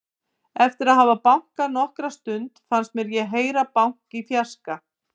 Eftir að hafa bankað nokkra stund fannst mér ég heyra bank í fjarska.